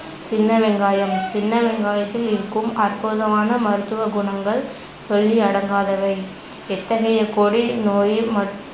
சின்ன வெங்காயம், சின்னவெங்காயத்தில் இருக்கும் அற்புதமான மருத்துவ குணங்கள் சொல்லி அடங்காதவை எத்தகைய கொடிய நோயயையும் மட்~